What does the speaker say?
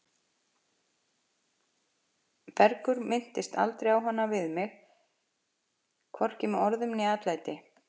Bergur minntist aldrei á hana við mig, hvorki með orðum né atlæti.